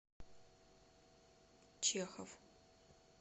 чехов